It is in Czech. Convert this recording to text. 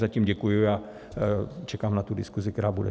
Zatím děkuji a čekám na tu diskusi, která bude.